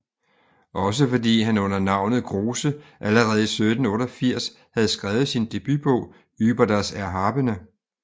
Også fordi han under navnet Grosse allerede i 1788 havde skrevet sin debutbog Ueber das Erhabene